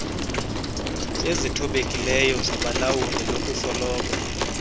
ezithobekileyo zabalawuli nokusoloko